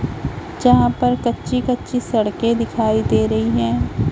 जहां पर कच्ची कच्ची सड़के दिखाई दे रही हैं।